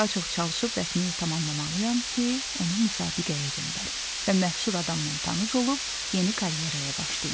Daha çox çalışıb rəsmimi tamamlamalıyam ki, onu müsabiqəyə göndərim və məşhur adamla tanış olub yeni karyeraya başlayım.